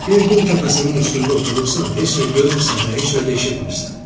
Bir qum təpəsinin üstündə oturursan, heç nə görmürsən və heç nə də eşitmisən.